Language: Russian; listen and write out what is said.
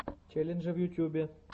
челленджи в ютубе